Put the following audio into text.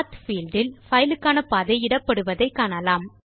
பத் பீல்ட் இல் பைலுக்கான பாதை இடப்படுவதை காணலாம்